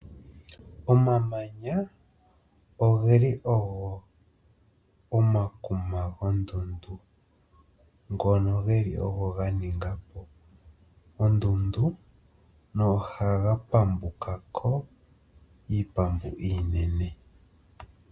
Omamanya ogeli ogo omakuma gondundu ngono geli ogo ganingapo ondundu no ohaga pambukako iipambu iinene.